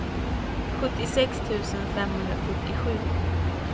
sjuttiosex tusen femhundrafyrtiosju